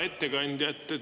Hea ettekandja!